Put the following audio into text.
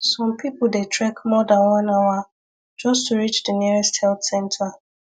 some people dey trek more than one hour just to reach the nearest health center